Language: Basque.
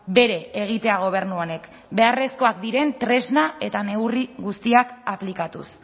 bere egitea gobernu honek beharrezkoak diren tresna eta neurri guztiak aplikatuz